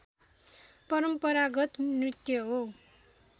परम्परागत नृत्य हो